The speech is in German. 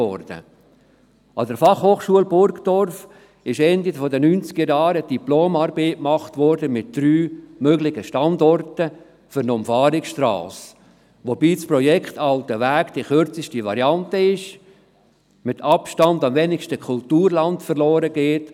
An der Fachhochschule Burgdorf wurde Ende der Neunzigerjahre eine Diplomarbeit über drei mögliche Standorte für eine Umfahrungsstrasse verfasst, wobei das Projekt «Altenweg» die kürzeste Variante ist und mit Abstand den geringsten Kulturlandverlust verursacht.